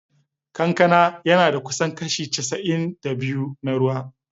Kankana yana da kusan kashi casa’in da biyu na ruwa.